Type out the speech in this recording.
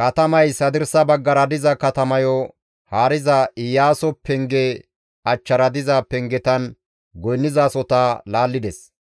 Katamays hadirsa baggara diza katamayo haariza Iyaaso penge achchara diza pengetan goynnizasohota laallides.